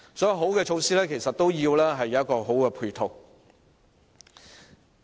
所以，好的措施其實需要有好的配套支持。